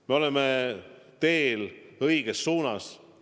Me oleme teel õiges suunas.